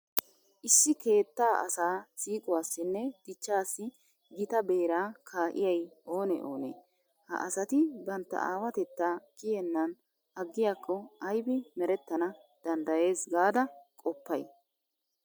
Issi keettaa asaa siiquwassinne dichchaassi gita beeraa kaa'iyay oonee oonee? Ha asati bantta aawatettaa kiyennan aggiyakko aybi merettana danddayees gaada qoppay?